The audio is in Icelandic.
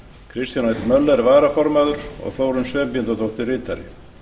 kristján l möller varaformaður þórunn sveinbjarnardóttir ritari